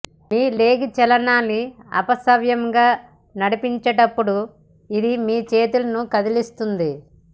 మీ leg చలనాన్ని అపసవ్యంగా నడిపించేటప్పుడు ఇది మీ చేతులను కదిలిస్తుంది